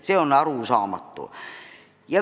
See on arusaamatu.